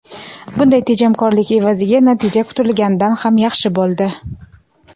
Bunday tejamkorlik evaziga natija kutilganidan ham yaxshi bo‘ldi.